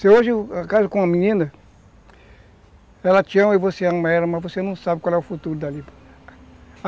Se hoje, caso com a menina, ela te ama e você ama ela, mas você não sabe qual é o futuro dali.